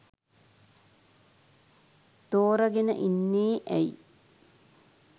තෝරගෙන ඉන්නේ ඇයි?